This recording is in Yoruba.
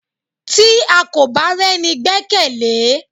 Tí à kọ bá rení gbekele?